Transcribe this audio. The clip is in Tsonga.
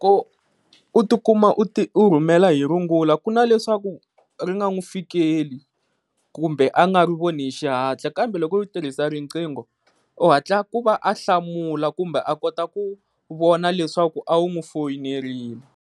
Ku u ti kuma u ti u rhumela hi rungula ku na leswaku ri nga n'wi fikeli kumbe a nga ri voni hi xihatla kambe loko u tirhisa riqingho u hatla ku va a hlamula kumbe a kota ku vona leswaku a wu n'wi fowunerile.